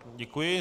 Děkuji.